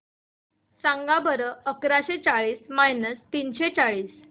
सांगा बरं अकराशे चाळीस मायनस तीनशे चाळीस